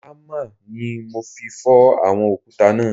Hámà ni mo fi fọ́ àwọn òkúta náà